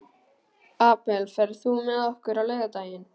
Abel, ferð þú með okkur á laugardaginn?